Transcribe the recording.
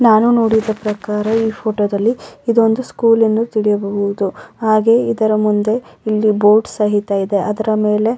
ನಾನು ನೋಡಿದ ಪ್ರಕಾರ ಈ ಫೊಟೊ ದಲ್ಲಿ ಇದೊಂದು ಸ್ಕೂಲ್ ಎಂದು ತಿಳಿಯಬಹುದು ಹಾಗೆ ಇದರ ಮುಂದೆ ಇಲ್ಲಿ ಬೋರ್ಡ್ ಸಹಿತ ಇದೆ ಅದರ ಮೇಲೆ --